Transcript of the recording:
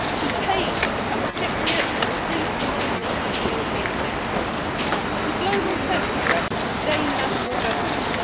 He paid to become a Cypriot and was free to do business as a European citizen. The global kleptocrats disdain national governments.